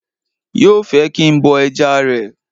Yóò fẹ́ kí n bọ ẹja rẹ̀